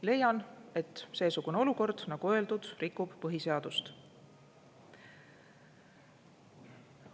Leian, et seesugune olukord, nagu öeldud, rikub põhiseadust.